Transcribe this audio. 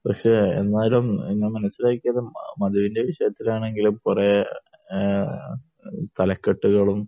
പക്ഷെ എന്നാലും നമ്മൾ മനസ്സിലാക്കിയത് മധുവിന്റെ വിഷയത്തിലാണെങ്കിലും കുറെ തലക്കെട്ടുകളും